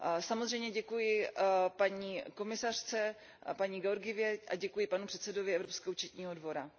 Samozřejmě děkuji paní komisařce Georgievové a děkuji panu předsedovi Evropského účetního dvora.